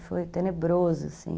E foi tenebroso, assim.